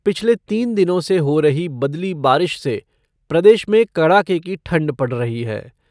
पिछले तीन दिनों से हो रही बदली बारिश से प्रदेश में कड़ाके की ठंड पड़ रही है।